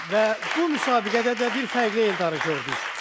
Və bu müsabiqədə də bir fərqli Eldarı gördük.